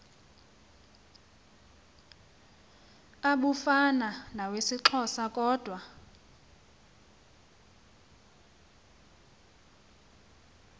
abufana nawesixhosa kodwa